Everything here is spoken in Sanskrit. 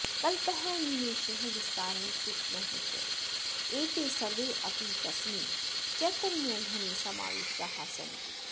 कल्पः निमेषः विस्तारः सूक्ष्मः च एते सर्वेऽपि तस्मिन् चैतन्यघने समाविष्टाः सन्ति